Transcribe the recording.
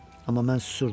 Amma mən susurdum.